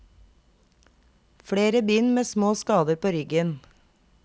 Flere bind med små skader på ryggen.